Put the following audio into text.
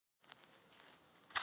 Þér er brugðið.